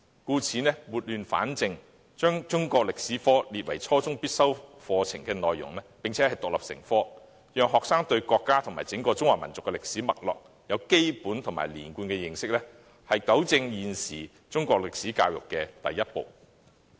因此，撥亂反正，把中史科列為初中必修科並獨立成科，讓學生對國家及整個中華民族的歷史脈絡有基本及連貫的認識，是糾正現時中史教育的第一步。